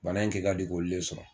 Bana in kɛ ka di k'oli le sɔrɔ